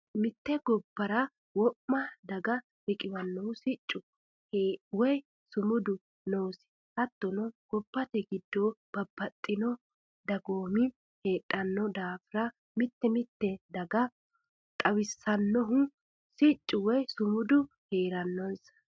Mite gobbara wo'ma daga riqiwanohu siccu woyi sumudu noosi hattono gobbate giddo babbaxxitino dagoomi heedhano daafira mite mitetta daga xawisanonsahu siccu woyi sumudu heeranonsa.